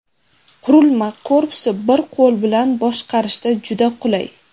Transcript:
Qurilma korpusi bir qo‘l bilan boshqarishda juda qulay.